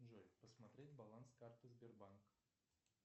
джой посмотреть баланс карты сбербанк